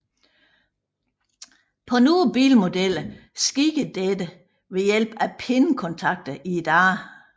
På nogle bilmodeller sker dette ved hjælp af pindekontakter i dørene